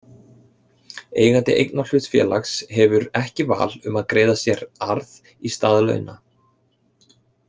Eigandi einkahlutafélags hefur ekki val um það að greiða sér arð í stað launa.